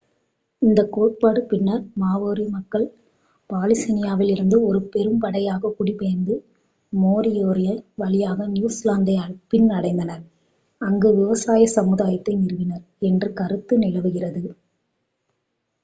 இந்த கோட்பாடு பின்னர் மாவோரி மக்கள் பாலினீசியாவிலிருந்து ஒரு பெரும்படையாக குடிபெயர்ந்து மோரியோரி வழியாக நியூசிலாந்தை பின் அடைந்தனர் அங்கு விவசாய சமுதாயத்தை நிறுவினர் என்ற கருத்தை நிலவுகிறது